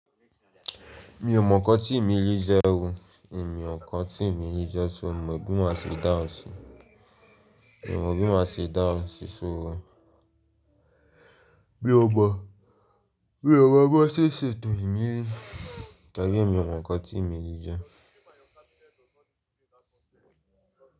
Mi ò mọ nǹkan tí ìmílì jẹ́, òun ìmí ọ̀kan tí ìmílì jẹ́, ṣé o mọ̀ bí mo ṣe dáhùn sí i? Mi ò mọ̀ bí mo ṣe dáhùn sí so mí ó mọ́, bí ó mọ́ bó ṣe ṣètò ìmílì tàbí mi ò mọ nǹkan tí ìmílì jẹ́